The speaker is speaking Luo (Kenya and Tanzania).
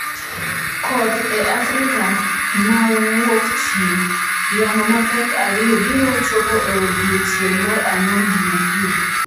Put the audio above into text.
Koth e Afrika ma Wuokchieng’: Yamo mapek ariyo biro chopo e odiechieng’ mar Ang’wen, Jumapil